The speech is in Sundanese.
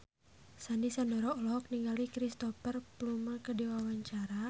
Sandy Sandoro olohok ningali Cristhoper Plumer keur diwawancara